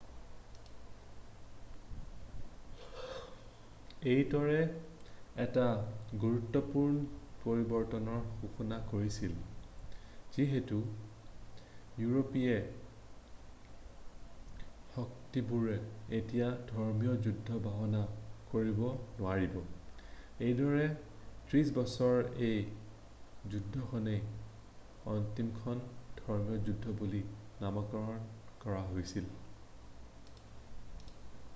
এইটোৱে এটা গুৰুত্বপূৰ্ণ পৰিৱৰ্তনৰ সূচনা কৰিছিল যিহেতু ইউৰোপীয় শক্তিবোৰে এতিয়া ধৰ্মীয় যুদ্ধৰ বাহানা কৰিব নোৱাৰিব এইদৰে ত্ৰিশ বছৰৰ এই যুদ্ধখনেই অন্তিমখন ধৰ্মীয় যুদ্ধ বুলি নামাকৰণ কৰা হৈছিল